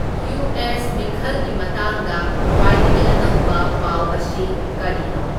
US ꯃꯤꯈꯜꯒꯤ ꯃꯇꯥꯡꯗ ꯈꯨꯋꯥꯏꯗꯒꯤ ꯑꯅꯧꯕ ꯄꯥꯎ ꯑꯁꯤ ꯀꯥꯔꯤꯅꯣ